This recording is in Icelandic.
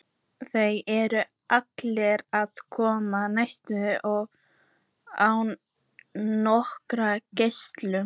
Þar urðu allir að koma nærri og án nokkurrar greiðslu.